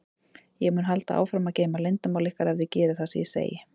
Ég mun halda áfram að geyma leyndarmál ykkar ef þið gerið það sem ég segi.